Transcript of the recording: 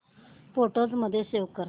photos मध्ये save कर